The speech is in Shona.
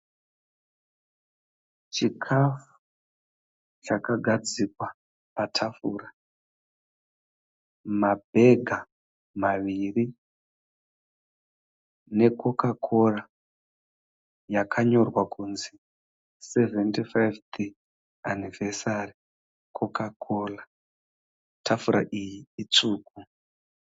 Chikafu chakagadzikwa patafura mabhega maviri nekokakora yakanyorwa kunzi sevhende faifi anivhesari patafura tafura iyi itsvuku